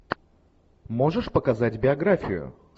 можешь показать биографию